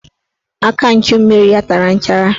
Aka nchummiri ya tara nchara